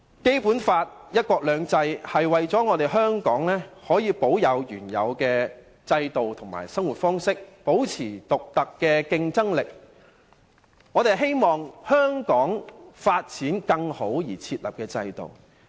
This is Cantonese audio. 《基本法》及"一國兩制"的原則是為了讓香港可以保持原有制度及生活方式，並保持其獨特的競爭力，以期香港能有更佳發展。